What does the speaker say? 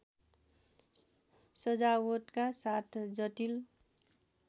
सजावटका साथ जटिल